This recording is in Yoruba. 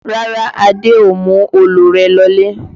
Rárá, Adé ò mú òòlù rẹ lọlé